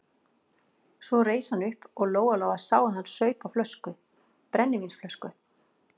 Svo reis hann upp og Lóa-Lóa sá að hann saup á flösku, brennivínsflösku.